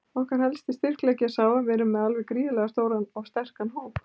Okkar helsti styrkleiki er sá að við erum með alveg gríðarlega stóran og sterkan hóp.